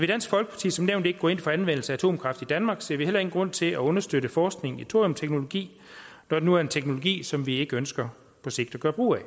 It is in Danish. dansk folkeparti som nævnt ikke går ind for anvendelse af atomkraft i danmark ser vi heller ingen grund til at understøtte forskning i thoriumteknologi når det nu er en teknologi som vi ikke ønsker at gøre brug af